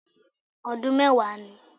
Ọdún mẹ́wàá ni